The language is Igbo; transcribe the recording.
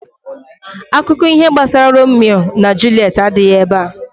Akuko iho gbasara Rome and Juliet adighi ebea